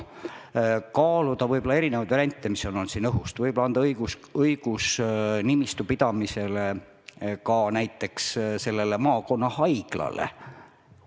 Tuleb kaaluda variante, mis on juba jutuks olnud, võib-olla anda õigus nimistu pidamiseks näiteks maakonnahaiglale.